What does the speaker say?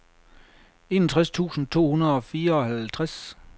enogtres tusind to hundrede og fireoghalvtreds